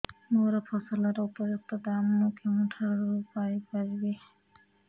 ମୋ ଫସଲର ଉପଯୁକ୍ତ ଦାମ୍ ମୁଁ କେଉଁଠାରୁ ପାଇ ପାରିବି